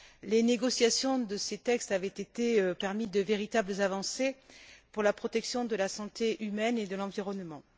Les négociations de ces textes avaient été passionnelles et ont permis de véritables avancées pour la protection de la santé humaine et de l'environnement.